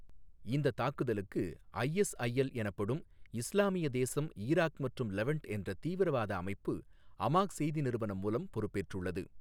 இந்த தாக்குதலுக்கு ஐஎஸ்ஐஎல் எனப்படும் இஸ்லாமிய தேசம் ஈராக் மற்றும் லெவன்ட் என்ற தீவிரவாத அமைப்பு அமாக் செய்தி நிறுவனம் மூலம் பொறுப்பேற்றுள்ளது.